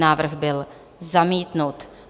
Návrh byl zamítnut.